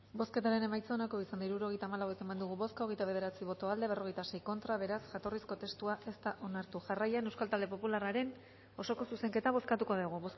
bozketaren emaitza onako izan da hirurogeita hamabost eman dugu bozka hogeita bederatzi boto aldekoa cuarenta y seis contra beraz jatorrizko testua ez da onartu jarraian euskal talde popularraren osoko zuzenketa bozkatuko dugu